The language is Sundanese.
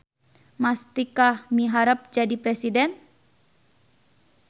Mastikah miharep jadi presiden